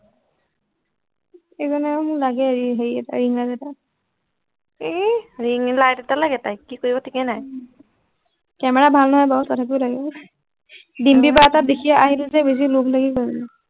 এনেই এই মোক লাগেই হেই এটা ring light এটা ইহ ring light এটা লাগে তাইক কি কৰিব থিকেই নাই উম camera ভাল নহয় বাৰু তথাপিও লাগিব দিম্পি বৰা আহি থাকে দেখি লোভ লাগি গল গে